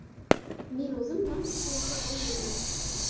Men o‘zim lampochka yasay olmayman.